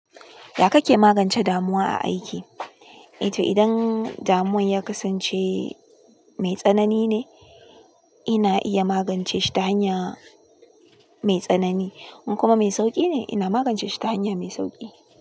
Ya kake magance damuwa a aiki? Eh to idan damuwan ya kasance mai tsanani ne, ina iya magance shi ta hanya mai tsanani. In kuma mai sauƙi ne, ina magance shi ta hanya mai sauƙi.